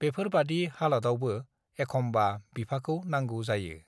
बेफोर बादि हालतआवबो एखमबा बिफाखौ नांगौ जायो